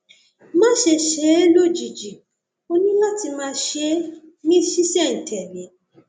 máṣe ṣe é lójijì ó ní láti máa ṣe é ní ṣísẹntẹlé